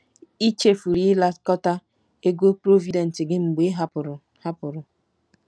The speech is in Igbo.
Ị chefuru ịnakọta ego Provident gị mgbe ị hapụrụ. ” hapụrụ. ”